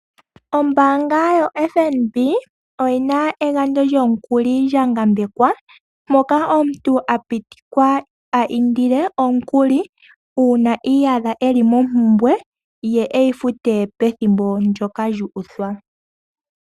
Ombaanga yoFNB oyina egandjo lyomukuli gwa ngambekwa, moka omuntu apitikwa a indile omukuli, uuna iiyadha eli mompumbwe, ye eyi fute pethimbo ndyoka lyu uthwa.